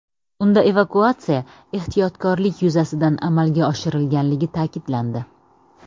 Unda evakuatsiya ehtiyotkorlik yuzasidan amalga oshirilganligi ta’kidlandi.